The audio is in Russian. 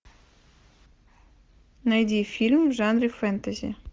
найди фильм в жанре фэнтези